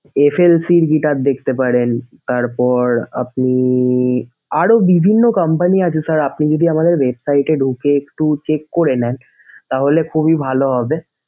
FLC এর guitar দেখতে পারেন তারপর আপনি আরও বিভিন্ন company আছে sir আপনি যদি আমাদের website এ ঢুকে একটু check করে নেন তাহলে খুবই ভালো হবে।